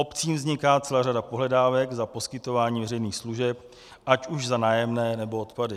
Obcím vzniká celá řada pohledávek za poskytování veřejných služeb, ať už za nájemné, nebo odpady.